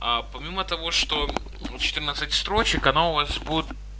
помимо того что четырнадцать строчек она у вас будет